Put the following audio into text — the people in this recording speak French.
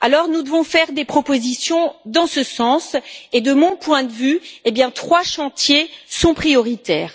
Nous devons donc faire des propositions dans ce sens et, de mon point de vue, trois chantiers sont prioritaires.